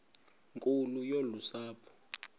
nkulu yolu sapho